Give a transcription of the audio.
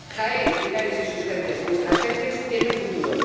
Jaén, Linares y sus gentes —nuestras gentes— tienen futuro.